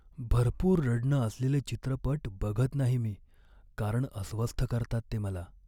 भरपूर रडणं असलेले चित्रपट बघत नाही मी कारण अस्वस्थ करतात ते मला.